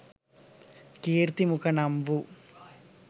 කීර්ති මුඛ නම් වූ